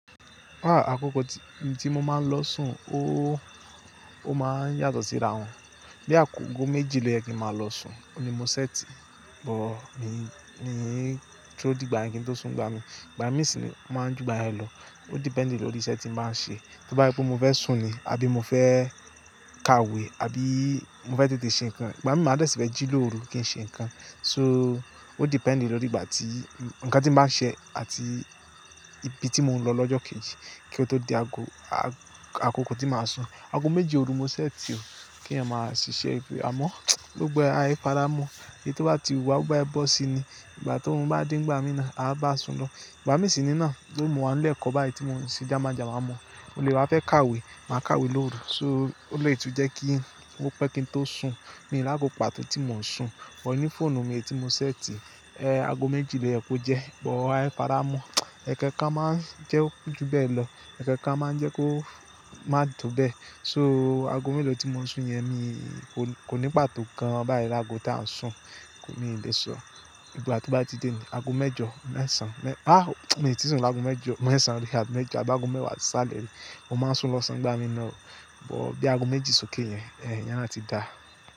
Àkókò tí mo máa ń lọ sùn óóó, ó máa ń yàtọ̀ síra wọn. Bí àgogò méjì lọ́yè kí n máa lọ sùn, óun ni mo ṣẹ́ti, but mi n duro dìgbà yen kin tó sùn ngbá mi. Ìgbà mí sì máa ń ju ìgbà yen lọ. Ó depend lórí iṣẹ́ tí n báa ń ṣe. Bí bá se pé mo fẹ́ sùn ni, àbí mo fẹ́ ka ìwé, àbí mo fẹ́ tètè ṣe nǹkan. Ìgbà mí máa dẹ̀ si fẹ́ jí lóru kí n ṣe nǹkan. So ó depend lórí ìgbà tí, nǹkan tí máa ṣẹ àti ibi tí mò ń lọ lọ́jọ́ kejì kí ó tó di ago, a-àkókò tí màá sùn. Ago méjì ooru mo ṣẹ́ ti o kí eeyan máa ṣiṣẹ́ ibi, àmọ́ lógbọ́n á faramọ́. Èyí tó bá ti wù wa, bi bá se bọ́ sí ni. Ìgbà tórun bá de ni igbà mí ná, a bá sùn lọ. Ìgbà mí sì ní ná, tori mo wa ńi ile ekọ́ báyìí tí mò ń ṣe jámàjàma mọ́. Mo lè wá fẹ́ ka ìwé, màá ka ìwé lóru. So ó lè tún jẹ́ kí ó pẹ́ kí n tó sùn. Mi lago pàtó tí mò ń sùn, but ní fóònù mi tí mo set, ago méjì lọ́yè kó jẹ́, but ái paramọ́. Ẹkan kan a máa ń jẹ́ ó ko ju bẹ́ẹ̀ lọ, ẹ̀kookan a máa ń jẹ́ kó má tó bẹ́ẹ̀. So ago mélòó tí mo sùn yẹn, kò ní pàtó kan báyìí lágo tí à ń sùn. Mii le sọ. Ìgbà tí ó bá ti dé ni ago mẹ́jọ, mẹ́sàn, ah, mi o tí sùn lágo mẹ́jọ, mẹ́sàn rí, abi mẹ́jọ, àbi ago mẹ́wàá sisale rí. Mo máa ń sùn lọ́sàn nigbà mí naá. But bí ago méjì sókè yẹn, iyen naá ti dá.